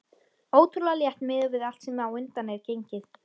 Ótrúlega létt miðað við allt sem á undan er gengið.